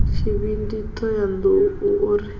tshivhindi thohoyanḓ ou o ri